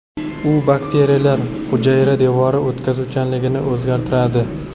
U bakteriyalar hujayra devori o‘tkazuvchanligini o‘zgartiradi.